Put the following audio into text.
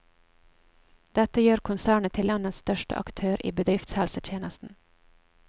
Dette gjør konsernet til landets største aktør i bedriftshelsetjenesten.